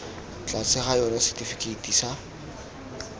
tlase ga yona setifikeiti sa